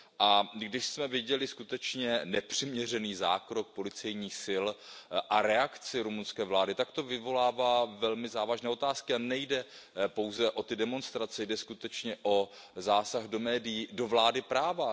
A když jsme viděli skutečně nepřiměřený zákrok policejních sil a reakci rumunské vlády, tak to vyvolává velmi závažné otázky, a nejde pouze o ty demonstrace, jde skutečně o zásah do médií, do vlády práva.